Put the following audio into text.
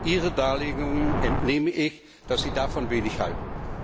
Ihren Darlegungen entnehme ich, dass Sie davon wenig halten.